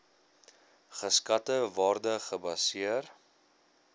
geskatte waarde gebaseer